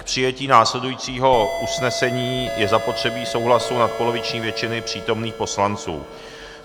K přijetí následujícího usnesení je zapotřebí souhlasu nadpoloviční většiny přítomných poslanců.